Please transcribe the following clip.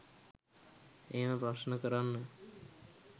එහෙම ප්‍රශ්න කරන්න.